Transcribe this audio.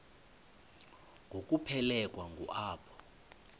ngokuphelekwa ngu apho